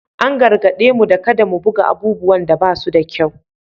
An gargaɗe mu da kada mu buga abubuwan da ba su da kyau